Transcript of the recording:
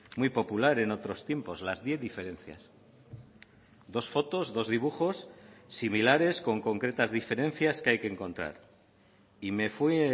muy popular en otros tiempos las diez diferencias dos fotos dos dibujos similares con concretas diferencias que hay que encontrar y me fue